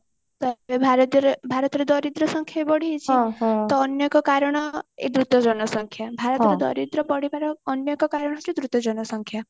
ତ ଏବେ ଭାରତରେ ଭାରତରେ ଦରିଦ୍ର ସଂଖ୍ୟା ବି ବଢିଯାଇଛି ତ ଅନ୍ୟ ଏକ କାରଣ ଏଇ ଦ୍ରୁତ ଜନସଂଖ୍ୟା ଭାରତର ଦରିଦ୍ର ବଢିବାର ଅନ୍ୟ ଏକ କାରଣ ହଉଛି ଦ୍ରୁତ ଜନସଂଖ୍ୟା